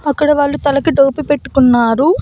అక్కడ వాళ్ళు తలకి టోపి పెట్టుకున్నారు.